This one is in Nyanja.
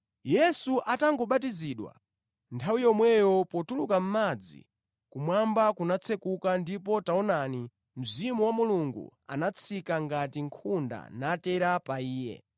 Yesu atangobatizidwa, nthawi yomweyo potuluka mʼmadzi, kumwamba kunatsekuka ndipo taonani, Mzimu wa Mulungu anatsika ngati nkhunda natera pa Iye.